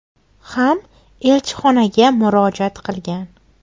ham elchixonaga murojaat qilgan.